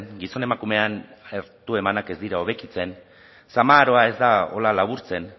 gizon emakumeen hartu emanak ez dira hobekitzen zama aroa ez da hola laburtzen